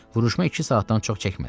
Vuruşma iki saatdan çox çəkmədi.